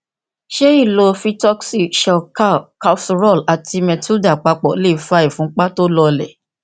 ṣé ìlo vitoxy shelcal calcirol ati metilda papọ lè fa ìfúnpá tó lọọlẹ